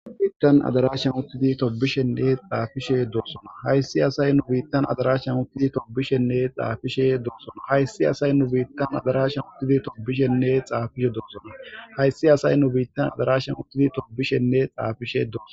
Biittan adarashan uttidi tobishenne xaafishe doossona hayssi asay nu biittan adarashan uttidi tobishenne xaafishe doossona hayssi asay nu biittan adarashan uttidi tobishenne xaafishe doossona hayssi asay nu biittan adarashan utidi tobishenne xaafishe dooso.